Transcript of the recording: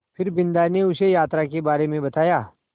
फिर बिन्दा ने उसे यात्रा के बारे में बताया